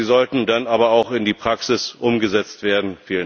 Sie sollten dann aber auch in die Praxis umgesetzt werden.